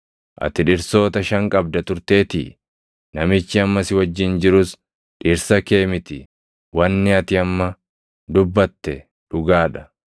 ati dhirsoota shan qabda turteetii; namichi amma si wajjin jirus dhirsa kee miti. Wanni ati amma dubbate dhugaa dha.”